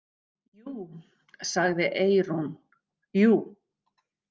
Jú, sagði Eyrún, jú.